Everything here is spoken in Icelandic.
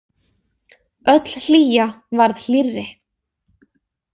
Öll hlýja varð hlýrri.